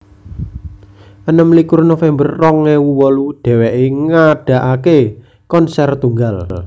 enem likur november rong ewu wolu dheweké ngadakaké konser tunggal